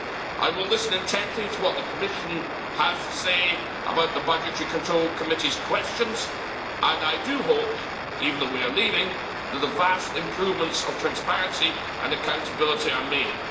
I will listen intently to what the Commission has to say about the Budgetary Control Committee's questions and I do hope that, even though we are leaving, the vast improvements of transparency and accountability are made.